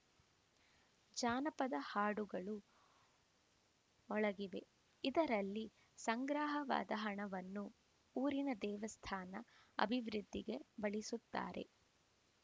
ಜಾನಪದ ಹಾಡುಗಳು ಮೊಳಗಿವೆ ಇದರಲ್ಲಿ ಸಂಗ್ರಹವಾದ ಹಣವನ್ನು ಊರಿನ ದೇವಸ್ಥಾನ ಅಭಿವೃದ್ಧಿಗೆ ಬಳಿಸುತ್ತಾರೆ